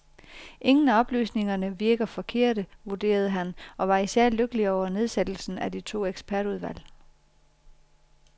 Ingen af oplysningerne virker forkerte, vurderede han og var især lykkelig over nedsættelsen af de to ekspertudvalg.